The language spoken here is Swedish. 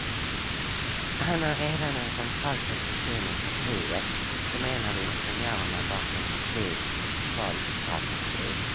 Han har redan en central position i partiet som en av ingenjörerna bakom partiets valstrategi.